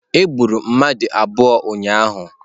Egburu mmadụ abụọ ụnyahụ.